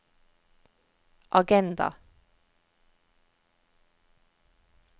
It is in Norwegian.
agenda